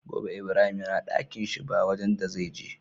Gobe ibrahim yana Ɗakinshi ba wajan da zai je